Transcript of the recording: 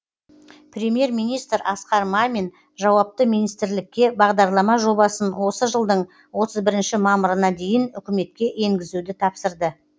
премьер министр асқар мамин жауапты министрлікке бағдарлама жобасын осы жылдың отыз бірінші мамырына дейін үкіметке енгізуді тапсырды